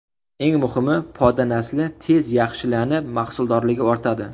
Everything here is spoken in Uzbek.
Eng muhimi, poda nasli tez yaxshilanib, mahsuldorligi ortadi.